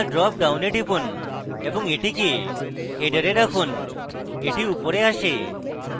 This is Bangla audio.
drop ডাউনে টিপুন এবং এটিকে header এ রাখুন এটি উপরে আসে